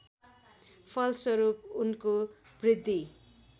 फलस्वरूप उनको वृद्धि